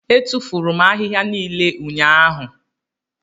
Etufuru m ahịhịa niile ụnyahụ.